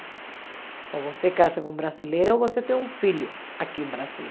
Ou você casa com brasileiro ou você tem um filho aqui no Brasil.